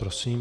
Prosím.